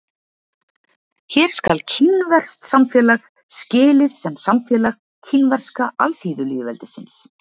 Hér skal kínverskt samfélag skilið sem samfélag Kínverska alþýðulýðveldisins.